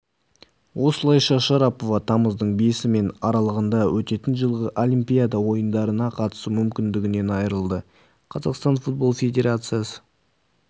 осылайша шарапова тамыздың бесі мен аралығында өтетін жылғы олимпиада ойындарына қатысу мүмкіндігінен айырылды қазақстанның футбол федерациясы